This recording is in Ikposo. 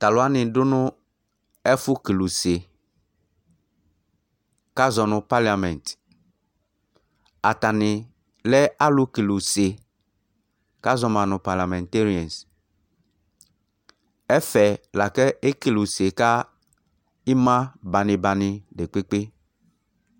Tu alu wani du ɛfʋkele use kʋ azɔ nʋ paliamɛtɩ Atani lɛ alukeluse kʋ azɔma nʋ paliamɛteriɛsɩ Ɛfɛ lakʋ ekeluse ka imabanibani dekpekpe